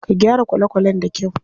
Ka gyara kwale kwalen da kyau.